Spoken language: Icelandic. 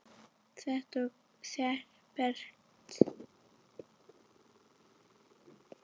Set og setberg